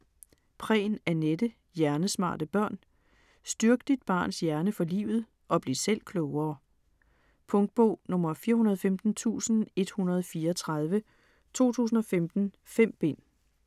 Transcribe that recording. Prehn, Anette: Hjernesmarte børn Styrk dit barns hjerne for livet (og bliv selv klogere). Punktbog 415134 2015. 5 bind.